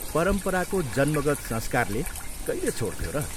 परम्पराको जन्मगत संस्कारले कहिले छोड्थ्यो र?